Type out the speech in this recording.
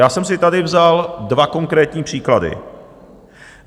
Já jsem si tady vzal dva konkrétní příklady.